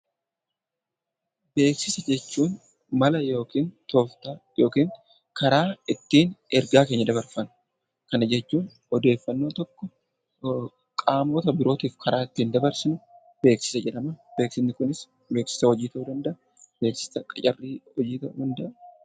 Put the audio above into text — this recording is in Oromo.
Beeksisa jechuun mala yookiin tooftaa yookiin karaa ittiin ergaa keenya dabarfannu, kana jechuun odeeffannoo tokko qaamota birootif karaan ittiin dabarsinu beeksisa jedhama. Beeksisni kunis beeksisa hojii ta'uu danda’a, beeksisa qacarrii hojii ta'uu danda’a.